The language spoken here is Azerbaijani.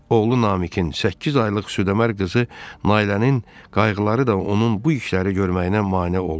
Oğlu Namiqin səkkiz aylıq südamər qızı Nailənin qayğıları da onun bu işləri görməyinə mane olmurdu.